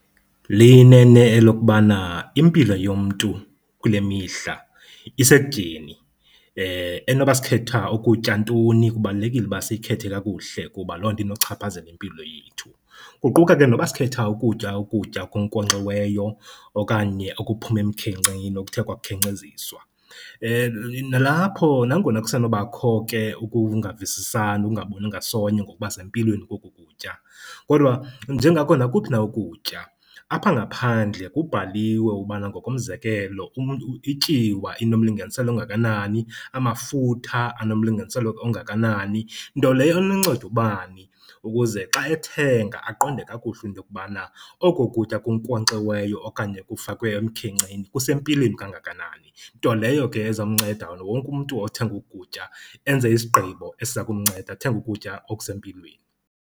Liyinene elokubana impilo yomntu kule mihla isekutyeni. Enoba sikhetha ukutya ntoni kubalulekile uba siyikhethe kakuhle kuba loo nto inochaphazela impilo yethu, kuquka ke noba sikhetha ukutya ukutya okunkonkxiweyo okanye okuphuma emkhenkceni okuthe kwakhenkceziswa. Nalapho nangona kusenobakho ke ukungavisisani, ukungaboni ngasonye ngokuba sempilweni koku kutya kodwa njengako nakuphi na ukutya, apha ngaphandle kubhaliwe ubana ngokomzekelo ityiwa inomlinganiselo ongakanani, amafutha anomlinganiselo ongakanani. Nto leyo enonceda ubani ukuze xa ethenga aqonde kakuhle into yokubana oko kutya kunkonkxiweyo okanye kufakwe emkhenkceni kusempilweni kanganani. Nto leyo ke ezomnceda wonke umntu othenga oku kutya enze isigqibo esiza kumnceda athenge ukutya okusempilweni.